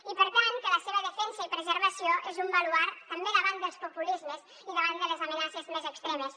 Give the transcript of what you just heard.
i per tant que la seva defensa i preservació és un baluard també davant dels populismes i davant de les amenaces més extremes